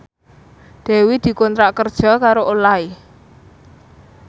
Dewi dikontrak kerja karo Olay